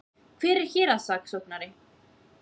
Hver er héraðssaksóknari?